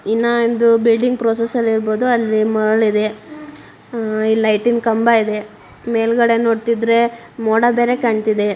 ಇನ್ನ ಒಂದು building process ಅಲ್ಲಿ ಇರಬಹುದು ಅಲ್ಲಿ ಮರಳು ಇದೆ ಇಲ್ಲಿ ಲೈಟ್ನ ಕಂಬ ಇದೆ ಮೇಲ್ಗಡೆ ನೋಡ್ತಿದ್ರೆ ಮೋಡ ಬೇರೆ ಕಾಣ್ತಿದೆ.